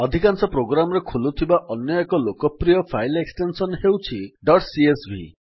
ଅଧିକାଂଶ ପ୍ରୋଗ୍ରାମ୍ ରେ ଖୋଲୁଥିବା ଅନ୍ୟଏକ ଲୋକପ୍ରିୟ ଫାଇଲ୍ ଏକ୍ସଟେନ୍ସନ୍ ହେଉଛି ଡଟ୍ ସିଏସଭି